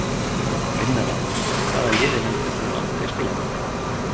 Vinna þá Hvaða liði myndir þú aldrei spila með?